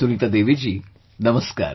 Sunita Devi ji, Namaskar